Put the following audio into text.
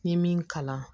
N ye min kalan